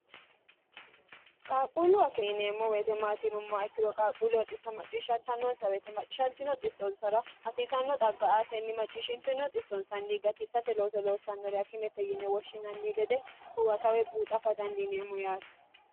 qaaquulluwa kinineemmo weetemaatinummoa ikkino qaaquullu woxisso macciishshanta nonsa weetemaaccishntino xissonsara hasiisanno xagga aatenni macciishshintino xissonsanni gatissate looso loossannorea kimete yine woshshinanni gede huwatawe buuxa fa dandiineemmo yaati